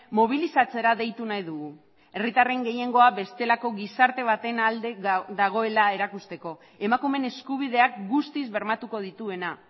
mobilizatzera deitu nahi dugu herritarren gehiengoa bestelako gizarte baten alde dagoela erakusteko emakumeen eskubideak guztiz bermatuko dituena